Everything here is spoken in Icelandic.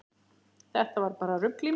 Þetta var bara rugl í mér.